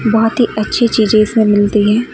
बहुत ही अच्छी चीजें इसमें मिलती है।